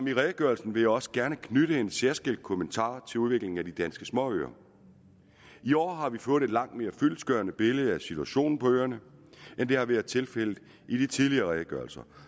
i redegørelsen vil jeg også gerne knytte en særskilt kommentar til udviklingen på de danske småøer i år har vi fået et langt mere fyldestgørende billede af situationen på øerne end det har været tilfældet i de tidligere redegørelser